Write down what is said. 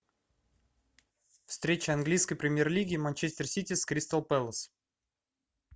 встреча английской премьер лиги манчестер сити с кристал пэлас